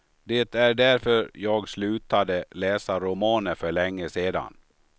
Det är därför jag slutade läsa romaner för länge sedan.